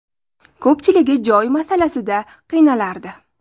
Ko‘pchiligi joy masalasida qiynalardi.